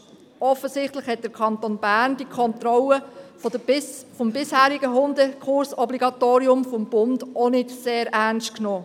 Offensichtlich hat der Kanton Bern die Kontrolle des bisherigen Hundekursobligatoriums vom Bund auch nicht sehr ernst genommen.